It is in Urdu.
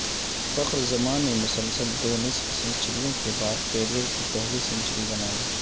فخر زمان نے مسلسل دو نصف سنچریوں کے بعد کیریئر کی پہلی سنچری بنائی